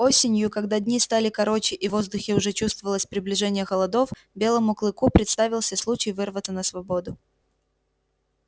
осенью когда дни стали короче и в воздухе уже чувствовалось приближение холодов белому клыку представился случай вырваться на свободу